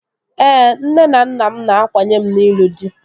Ee, nne na nna m na-akwanye m n'ịlụ dị